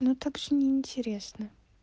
ну так же неинтересно